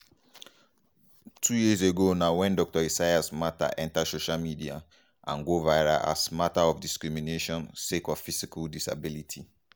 two years ago na wen dr esayas mata enta social media and go viral as mata of discrimination sake of physical disability.